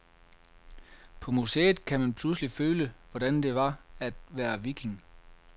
På museet kan man pludselig føle, hvordan det var at være viking.